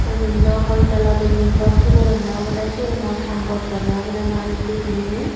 iben do hoi talla belding gor tulodonne obowde siyunot haam gottonde obowde manucchune.